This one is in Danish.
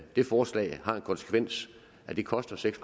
det forslag har den konsekvens at det koster seks